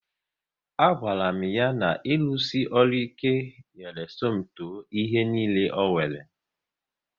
A gwara m ha na irusi ọrụ ike nyere Somto ihe niile o nwere